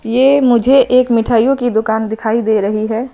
ये मुझे एक मिठाइयों की दुकान दिखाई दे रही है।